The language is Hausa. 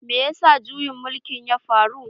Me ya sa juyin mulkin ya faru?